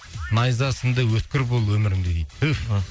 найзасындай өткір бол өміріңде дейді түф